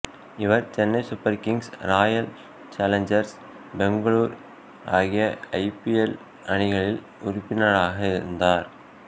இவர் Chennai Super Kings Royal Challengers Bangalore ஆகிய IPL அணிகளில் உறுப்பினராக இருந்தார்